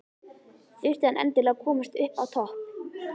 Þurfti hann endilega að komast upp á topp?